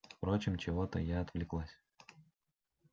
впрочем чего-то я отвлеклась